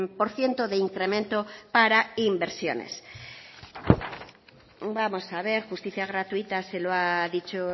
por ciento de incremento para inversiones vamos a ver justicia gratuita se lo ha dicho